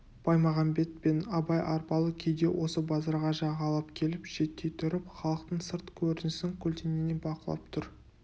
баймағамбет пен абай арбалы күйде осы базарға жағалап келіп шеттей тұрып халықтың сырт көрінісін көлденеңнен бақылап тұр